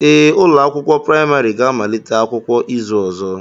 Ee, ụlọ akwụkwọ praịmarị ga-amalite akwụkwọ izu ọzọ